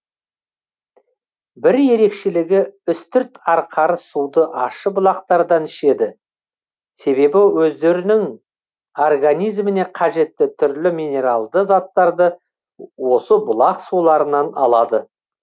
бір ерекшелігі үстірт арқары суды ащы бұлақтардан ішеді себебі өздерінің организміне қажетті түрлі минералды заттарды осы бұлақ суларынан алады